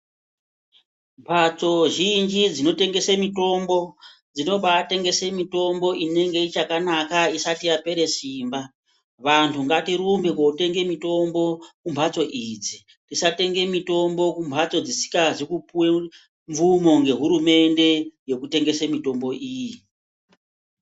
Mbatso zhinji dzinotengese mitombo ,dzinobaatengese mitombo inenge ichakanaka isati yapere simba. Vantu ngatirumbe kotenge mitombo kumbatso idzi. Tisatenge mitombo kumbatso dzisikazi kupiwa mvumo nehurumede yekutengese mitombo iyi.